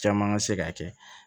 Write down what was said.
Caman ka se ka kɛ